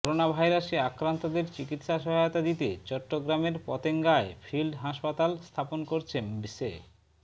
করোনাভাইরাসে আক্রান্তদের চিকিৎসা সহায়তা দিতে চট্টগ্রামের পতেঙ্গায় ফিল্ড হাসপাতাল স্থাপন করছে স্বে